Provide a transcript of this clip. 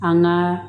An ŋaa